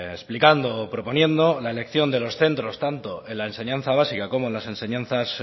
explicando o proponiendo en la elección de los centros tanto en la enseñanza básica como en las enseñanzas